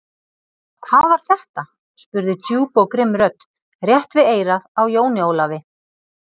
Hvað var þetta spurði djúp og grimm rödd, rétt við eyrað á Jóni Ólafi.